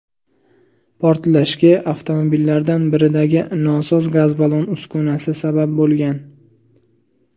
Portlashga avtomobillardan biridagi nosoz gaz ballon uskunasi sabab bo‘lgan.